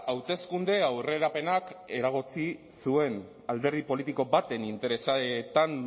hauteskunde aurrerapenak eragotzi zuen alderdi politiko baten interesetan